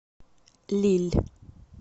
лилль